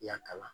I y'a kalan